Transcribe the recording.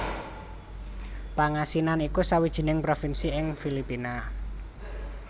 Pangasinan iku sawijining provinsi ing Filipina